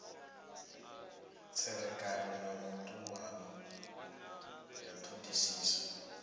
tserekano na vhutumani ya thodisiso